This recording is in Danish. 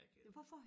Jeg kan